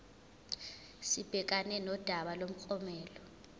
sibhekane nodaba lomklomelo